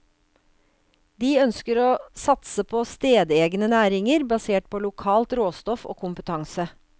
De ønsker å satse på stedegne næringer, basert på lokalt råstoff og kompetanse.